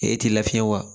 E ti lafiɲɛ wa